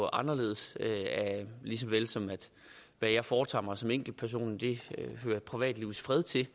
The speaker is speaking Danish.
anderledes og lige så vel som det jeg foretager mig som enkeltperson hører privatlivets fred til